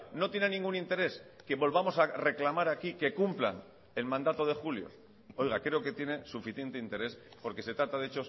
no tienen ningún interés que volvamos a reclamar aquí que cumplan el mandato de julio oiga creo que tiene suficiente interés porque se trata de